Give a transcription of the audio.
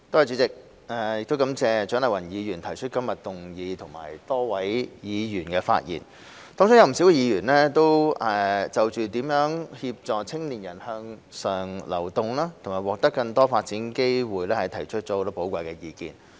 主席，我感謝蔣麗芸議員提出今日的議案，以及多位議員的發言，當中有不少議員均就如何協助青年人向上流動及獲得更多發展機會提出了許多寶貴意見。